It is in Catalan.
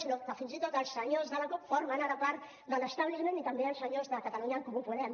sinó que fins i tot els senyors de la cup formen ara part de l’els senyors de catalunya en comú podem